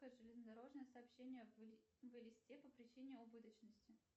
железнодорожное сообщение в элисте по причине убыточности